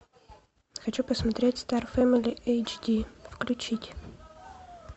хочу посмотреть стар фэмили эйчди включить